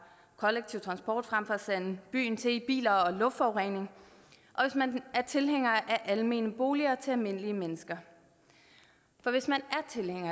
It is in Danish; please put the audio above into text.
kollektiv transport frem for at sande byen til med biler og luftforurening og hvis man er tilhænger af almene boliger til almindelige mennesker for hvis man